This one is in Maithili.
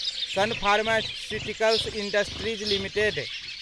सन फार्मास्यूटिकल्स इन्डस्ट्रीज लिमिटेड